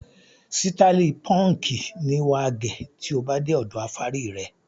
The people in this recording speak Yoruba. Sítáálì púńkì ni wà á gẹ̀ tí ó bá dé ọ̀dọ afárí rẹ.